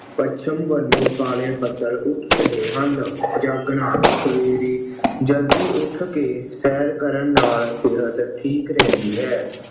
ਪੱਛਮ ਵੱਲੋਂ ਕਾਲੇ ਬੱਦਲ ਉੱਠ ਰਹੇ ਹਨ। ਜਾਗਣਾ ਸਵੇਰੇ ਜਲਦੀ ਉੱਠ ਕੇ ਸੈਰ ਕਰਨ ਨਾਲ ਸਿਹਤ ਠੀਕ ਰਹਿੰਦੀ ਹੈ।